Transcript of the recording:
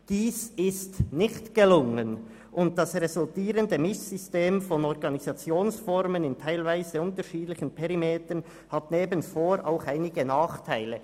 Dies ist nicht gelungen, und das resultierende ‹Mischsystem› von Organisationsformen in teilweise unterschiedlichen Perimetern hat neben Vor- auch einige Nachteile.»